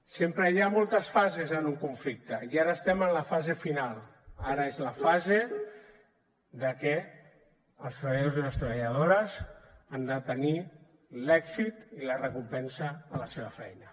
sempre hi ha moltes fases en un conflicte i ara estem en la fase final ara és la fase de que els treballadors i les treballadores han de tenir l’èxit i la recompensa a la seva feina